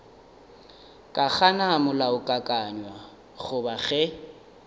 ka gana molaokakanywa goba ge